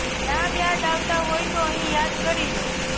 નામ યાદ આવતા હોય તો અહીં યાદ કરી લો